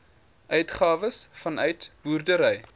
uitgawes vanuit boerdery